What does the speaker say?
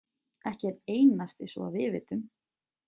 Ekki einn einasti svo að við vitum.